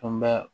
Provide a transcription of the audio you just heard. An bɛ